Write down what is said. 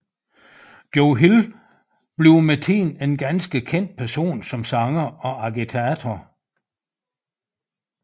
Joe Hill bliver med tiden en ganske kendt person som sanger og agitator